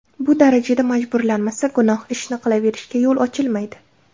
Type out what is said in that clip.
Bu darajada majburlanmasa, gunoh ishni qilaverishga yo‘l ochilmaydi.